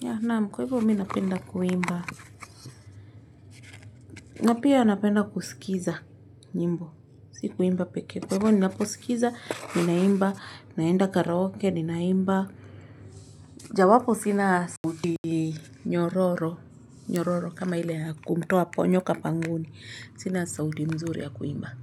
ya naam kwa hivyo mimi napenda kuimba na pia napenda kusikiza nyimbo si kuimba pekee kwa hivyo ninaposikiza ninaimba, naenda karaoke ninaimba, jawapo sina sauti nyororo nyororo kama ile ya kumtoa nyoka pangoni sina sauti mzuri ya kuimba.